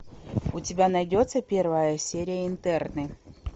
у тебя найдется первая серия интерны